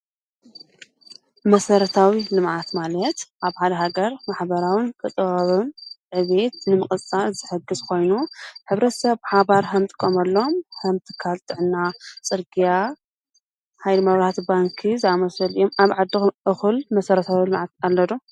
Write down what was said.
መሠረታዊ ልማዓት ማለት ኣብ ሓደ ሃገር ማኅበራውን ቅጠባውን ን ዕቤየት ንምቕጻእ ዘሕግሥ ኾይኑ ኅብረሰ ኣብ ሓባር ሃምቲ ቆምሎም ኸምቲ ካልጥዕና ጽርግያ ኃይሊ መብራት፣ ባንኪ ዝኣመሰልእኦም ኣብ ዓድ እዂል መሠረታዊ ልማዓት ኣለዶ?